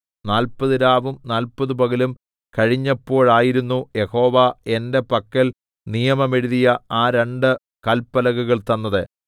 നാല്പതുരാവും നാല്പതുപകലും കഴിഞ്ഞപ്പോഴായിരുന്നു യഹോവ എന്റെ പക്കൽ നിയമം എഴുതിയ ആ രണ്ട് കല്പലകകൾ തന്നത്